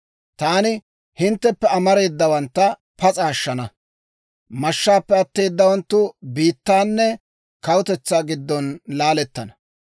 « ‹Taani hintteppe amareedawantta pas'a ashshana; mashshaappe atteeddawanttu biittaanne kawutetsaa giddon laalettana.